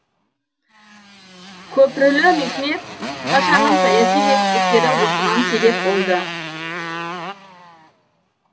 көпрүлі мехмет пашаның саяси жетістіктері осыған себеп болды